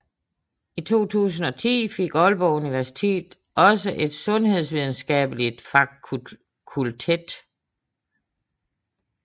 I 2010 fik Aalborg Universitet også et sundhedsvidenskabeligt fakultet